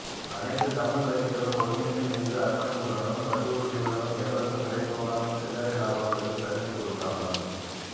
அனைத்து தமிழ்க் கட்சிகளும் ஒருமித்து நின்று அர்ப்பணிப்புடனும் பற்றுறுதியுடனும் எவருக்கும் விலை போகாமல் சில்லறை இலாபங்களுக்கு சரிந்து கொடுக்காமல்